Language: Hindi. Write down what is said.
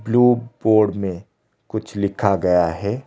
ब्लू बोर्ड में कुछ लिखा गया है।